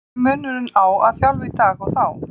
Hver er munurinn á að þjálfa í dag og þá?